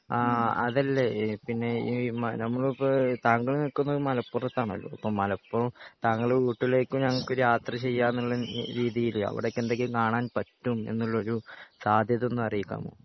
ആഹ് അതല്ലേ ഇഹ് പിന്നെ ഈഹ് നമ്മളിപ്പോ താങ്കൾ നിൽക്കുന്നത് മലപ്പുറത്താണല്ലോ അപ്പൊ മലപ്പു താങ്കളുടെ വീട്ടിലേക്കും ഞങ്ങക്ക് യാത്ര ചെയ്യാനുള്ള രീതിയിൽ അവിടൊക്കെ എന്തൊക്കെ കാണാൻ പറ്റും എന്നുള്ളൊരു സാധ്യത ഒന്ന് അറിയിക്കാമോ